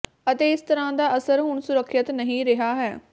ਅਤੇ ਇਸ ਤਰ੍ਹਾਂ ਦਾ ਅਸਰ ਹੁਣ ਸੁਰੱਖਿਅਤ ਨਹੀਂ ਰਿਹਾ ਹੈ